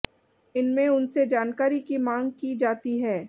इनमें उनसे जानकारी की मांग की जाती है